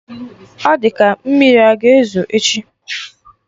Ọ di ka mmiri a ga ezo echi